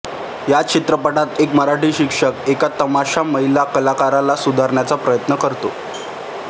या चित्रपटात एक मराठी शिक्षक एका तमाशा महिला कलाकाराला सुधारण्याचा प्रयत्न करतो